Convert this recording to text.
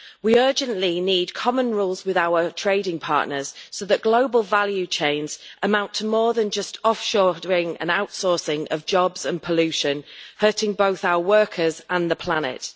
We urgently need common rules with our trading partners so that global value chains amount to more than just offshoring and outsourcing of jobs and pollution, hurting both our workers and the planet.